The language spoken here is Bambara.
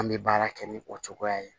An bɛ baara kɛ ni o cogoya ye